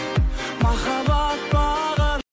махаббат бағын